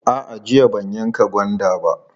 A'a, jiya ban yanka gwanda ba.